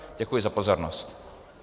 Děkuji za pozornost.